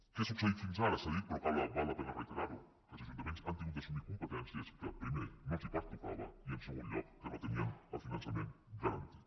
què ha succeït fins ara s’ha dit però val la pena reiterar ho que els ajuntaments han hagut d’assumir competències que primer no els pertocava i en segon lloc que no tenien el finançament garantit